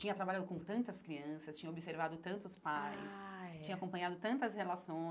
Tinha trabalhado com tantas crianças, tinha observado tantos pais, ah é tinha acompanhado tantas